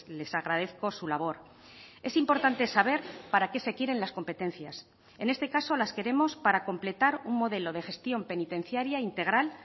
les agradezco su labor es importante saber para qué se quieren las competencias en este caso las queremos para completar un modelo de gestión penitenciaria integral